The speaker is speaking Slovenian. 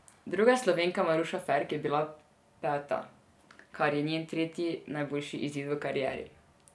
Druga Slovenka Maruša Ferk je bila peta, kar je njen tretji najboljši izid v karieri.